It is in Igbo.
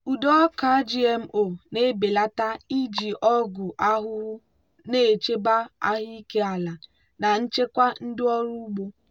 ụdị ọka gmo na-ebelata iji ọgwụ ahụhụ na-echebe ahụike ala na nchekwa ndị ọrụ ugbo.